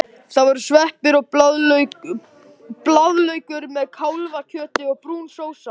Það voru sveppir og blaðlaukur með kálfakjötinu og brún sósa.